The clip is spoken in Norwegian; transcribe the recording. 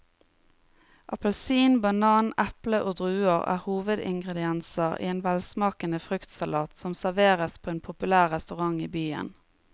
Appelsin, banan, eple og druer er hovedingredienser i en velsmakende fruktsalat som serveres på en populær restaurant i byen.